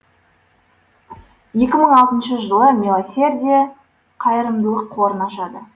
екі мың алтыншы жылы милосердие қайырымдылық қорын ашады